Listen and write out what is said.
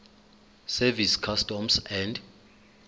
service customs and